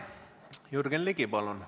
Jürgen Ligi, palun!